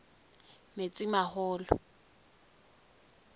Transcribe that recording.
metsimaholo